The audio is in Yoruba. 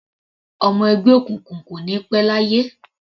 Ọmọ ẹgbẹ́ òkùnkùn kò ní pẹ́ láyé.